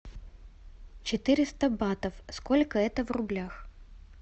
четыреста батов сколько это в рублях